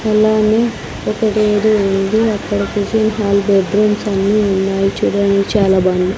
అలానే ఒకటి ఏదో ఉన్నది అక్కడ కిచెన్ హాల్ బెడ్ రూమ్స్ అన్నీ ఉన్నాయ్ చూడడానికి చాలా బాగున్నాయ్.